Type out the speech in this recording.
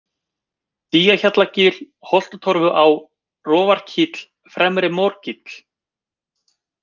Dýjahjallagil, Holtatorfuá, Rofarkíll, Fremri-Morkíll